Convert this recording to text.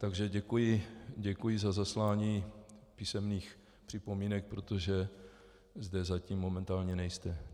Takže děkuji za zaslání písemných připomínek, protože zde zatím momentálně nejste.